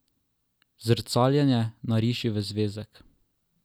Zrcaljenje nariši v zvezek.